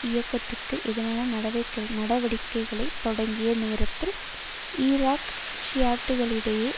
இயக்கத்திற்கு எதிரான நடவடிக்கைகளை தொடங்கிய நேரத்தில் ஈராக் ஷியாட்டுக்களிடையே